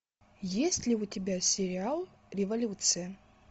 есть ли у тебя сериал революция